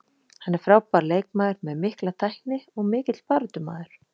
Hann er frábær leikmaður með mikla tækni og mikill baráttumaður.